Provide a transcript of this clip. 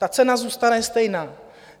Ta cena zůstane stejná.